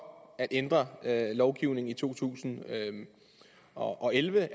at ændre lovgivningen i to tusind og elleve